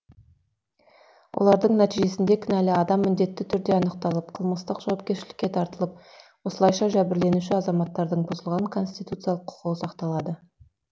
олардың нәтижесінде кінәлі адам міндетті түрде анықталып қылмыстық жауапкершілікке тартылып осылайша жәбірленуші азаматтардың бұзылған конституциялық құқығы сақталады